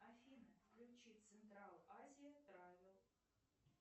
афина включи централ азия травел